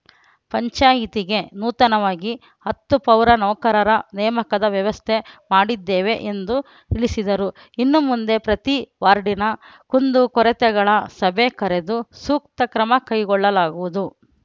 ಪಂಚಾಯಿತಿಗೆ ನೂತನವಾಗಿ ಹತ್ತು ಪೌರ ನೌಕರರ ನೇಮಕದ ವ್ಯವಸ್ಥೆ ಮಾಡದ್ದೇವೆ ಎಂದು ತಿಳಿಸಿದರು ಇನ್ನು ಮುಂದೆ ಪ್ರತಿ ವಾರ್ಡಿನ ಕುಂದು ಕೊರತೆಗಳ ಸಭೆ ಕರೆದು ಸೂಕ್ತ ಕ್ರಮ ಕೈಗೊಳ್ಳಲಾಗುವುದು